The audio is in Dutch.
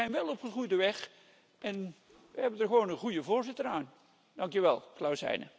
Maar we zijn wel op goede weg en we hebben er gewoon een goede voorzitter aan. Dank je wel, Klaus Heiner.